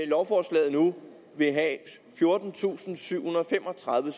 lovforslaget nu vil have fjortentusinde og syvhundrede og femogtredive